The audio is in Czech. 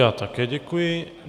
Já také děkuji.